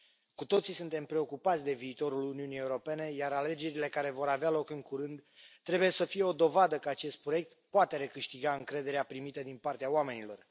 Cu toții suntem preocupați de viitorul Uniunii Europene, iar alegerile care vor avea loc în curând trebuie să fie o dovadă că acest proiect poate recâștiga încrederea primită din partea oamenilor.